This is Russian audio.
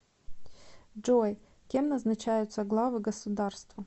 джой кем назначаются главы государства